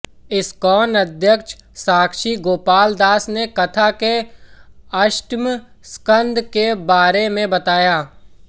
ISKCON अध्यक्ष साक्षी गोपालदास ने कथा के अष्टम स्कंद के बारे में बताया